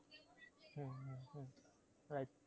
Right